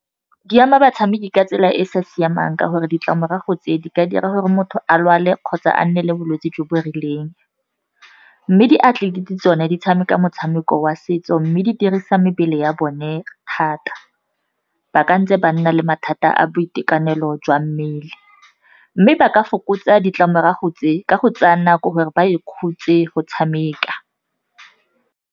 Di ama batshameki ka tsela e e sa siamang ka gore ditlamorago tse di ka dira gore motho a lwale kgotsa a nne le bolwetse jo bo rileng. Mme diatlelete tsone di tshameka motshameko wa setso, mme di dirisa mebele ya a bone thata, ba kantse ba nna le mathata a boitekanelo jwa mmele. Mme ba ka fokotsa ditlamorago tse ka go tsaya nako gore ba ikhutse go tshameka.